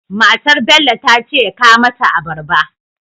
Matar Bello tace ya kawo mata abarba